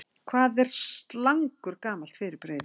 Hvað er slangur gamalt fyrirbrigði?